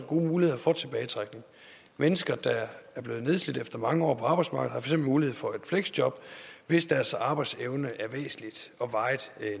gode muligheder for tilbagetrækning mennesker der er blevet nedslidt efter mange år på arbejdsmarkedet har mulighed for et fleksjob hvis deres arbejdsevne er væsentligt og varigt